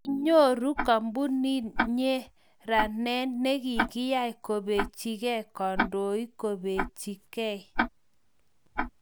kinyoru kampunit nyeranee ne kiyai kobechigei kandoik kobechi gei